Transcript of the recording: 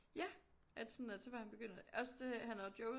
Ja at sådan at så var han begyndt at også det at han havde joket